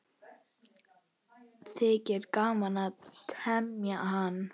Þykir gaman að teyma hann.